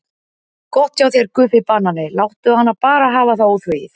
Gott hjá þér Guffi banani, láttu hana bara hafa það óþvegið.